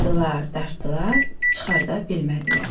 Dartdılar, dartdılar, çıxarda bilmədilər.